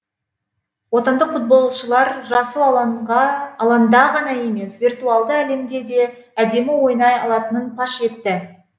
отандық футболшылар жасыл алаңда ғана емес виртуалды әлемде де әдемі ойнай алатынын паш етті